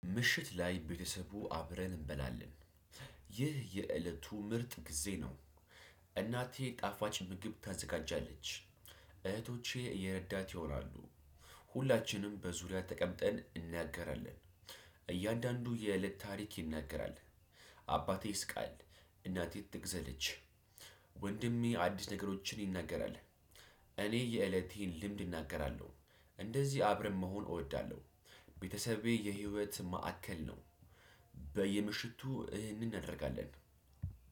ምሽት ላይ ቤተሰቡ አብረን እንበላለን። ይህ የእለቱ ምርጥ ጊዜ ነው። እናቴ ጣፋጭ ምግብ ታዘጋጃለች። እህቶቼ እየረዳት ይሆናሉ። ሁላችንም በዙሪያ ተቀምጠን እንናገራለን። እያንዳንዱ የእለት ታሪክ ይናገራል። አባቴ ይስቃል። እናቴ ትተክዛለች። ወንድሜ አዲስ ነገሮችን ይናገራል። እኔ የእለቴን ልምድ እናገራለሁ። እንደዚህ አብረን መሆን እወዳለሁ። ቤተሰቤ የህይወት ማዕከል ነው። በየምሽቱ እናደርጋለን።